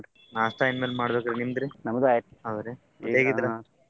ನಾಷ್ಟಾ ಇನ್ಮೇಲ್ ಮಾಡ್ಬೇಕ್ರಿ ನಿಮ್ದ್ ರೀ? .